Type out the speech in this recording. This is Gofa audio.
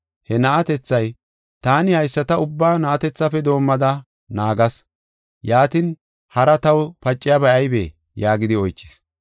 He na7atethay, “Taani haysata ubbaa na7atethafe doomada naagas. Yaatin, hari taw paciyabay aybee?” yaagidi oychis.